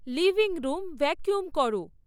living room vacuum করো